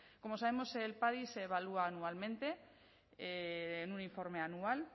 como sabemos el padi se evalúa anualmente en un informe anual